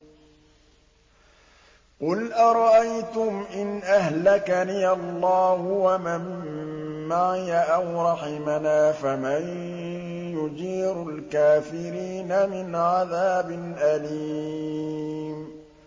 قُلْ أَرَأَيْتُمْ إِنْ أَهْلَكَنِيَ اللَّهُ وَمَن مَّعِيَ أَوْ رَحِمَنَا فَمَن يُجِيرُ الْكَافِرِينَ مِنْ عَذَابٍ أَلِيمٍ